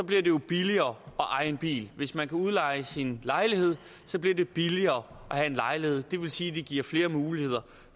bliver det jo billigere at eje en bil og hvis man kan udleje sin lejlighed bliver det billigere at have en lejlighed det vil sige at det giver flere muligheder